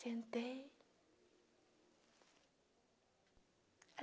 Sentei.